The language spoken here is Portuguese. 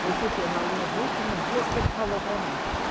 Foi surpreso na nos últimos dias que ele falou para mim.